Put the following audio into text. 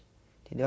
Entendeu?